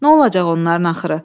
Nə olacaq onların axırı?